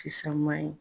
Fisaman ye